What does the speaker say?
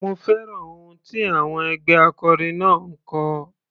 Mo fẹ́ràn ohùn tí àwọn ẹgbẹ́ akọrin náà ń kọ.